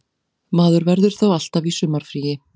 Maður verður þá alltaf í sumarfríi